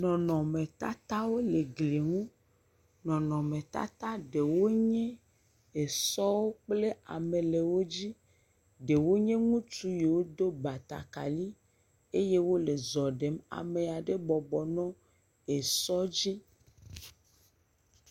Nɔnɔmetatawo le gli ŋu. Nɔnɔmetata ɖewo nye esɔwo kple ame le wo dzi. Ɖewo nye ŋutsu yiwo do batakali eye wole zɔ ɖem. Ame aɖe bɔbɔ nɔ esɔ dzi.